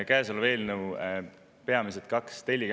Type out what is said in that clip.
Käesoleval eelnõul on kaks peamist telge.